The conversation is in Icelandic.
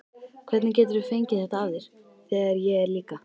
Hvernig geturðu fengið þetta af þér, þegar ég er líka.